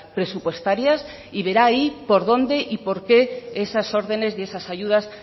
presupuestarias y verá ahí por dónde y porqué esas órdenes y esas ayudas